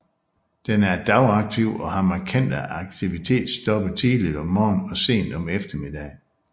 Den er dagaktiv og har markante aktivitetstoppe tidligt om morgenen og sent på eftermiddagen